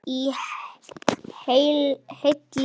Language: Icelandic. Í heilli bók.